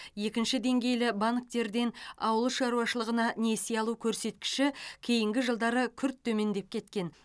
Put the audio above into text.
екінші деңгейлі банктерден ауыл шаруашылығына несие алу көрсеткіші кейінгі жылдары күрт төмендеп кеткен